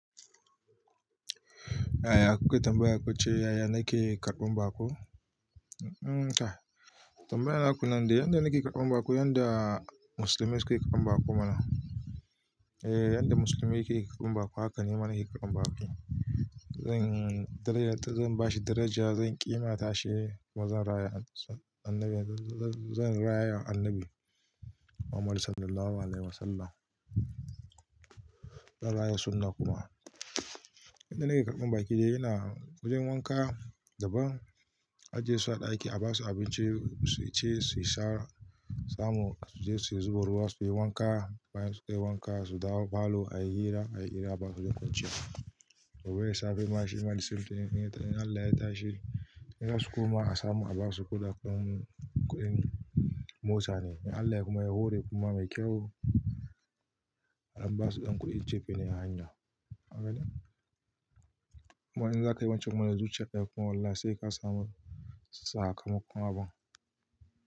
Aya kukai tambaya kuka ce yaya nake karɓan baƙo? Tambayan na kuna nan dainyadda nake karɓan baƙo, yadda musulmai suke karɓan baƙo mana. Ehh yadda musulmi suke karɓan baƙo hakan nima nake karɓan baƙo. Zan bashi daraja, zan ƙi mata shi kuma zan raya annabi Muhammad sallallahu alaihi wasallam. Zan raya sunna kuma. Yadda nake karɓan baƙi dai ina wajen wanka da ban. Ajiye su a ɗaki a basu abinci su ci, su sha samu su je su zuba ruwa suyi wanka. Bayan sunyi wanka su dawo falo a yi hira a yi hira basu da ƙunci. Gobe dasafe na shima the same thing in Allah ya tashi in basu kuma a samu a basu kuɗin motsa ne. In Allah ya kuma ya hore kuma mai kyau an basu ɗan kuɗi cefa ne a hanya. Kaga ne? Kuma in zakai wancan kuma da zuciyar kai kuma wallahi sai ka samu sakamakon abun.